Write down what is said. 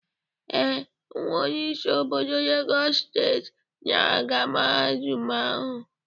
Ee, nwa onye isi obodo Legọs steeti na-aga Mahadum ahụ.